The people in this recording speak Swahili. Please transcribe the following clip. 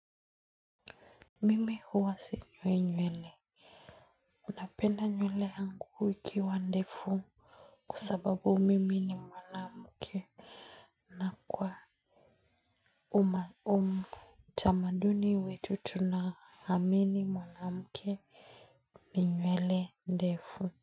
Mimi huwa sinyoi nywele. Napenda nywele yangu ikiwa ndefu. Kwa sababu mimi ni mwanamke. Na kwa uma umu. Tamaduni wetu tunaamini mwanamke ni nywele ndefu.